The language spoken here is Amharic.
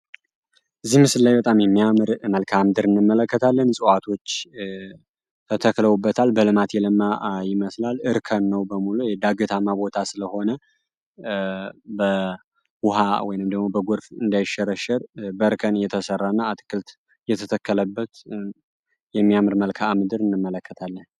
ዚህ ምስላይ በጣም የሚያምር መልካዓ ምድር እንመለከታለን። ጽዋዋቶች ተተክለውበታል፤ በልማት የለማ መስላል እርከን ነው በሙሉ የዳግትማ ቦታ ስለሆነ በውሃ ንምደሞ በጎርፍ እንዳይሸረሸር በርከን የተሠራ እና አትክልት የተተከለበት የሚያምር መልካዓ ምድር እንመለከታለን።